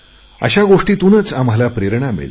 अशा गोष्टीतूनच आम्हाला प्रेरणा मिळते